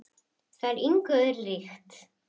Það er engu öðru líkt.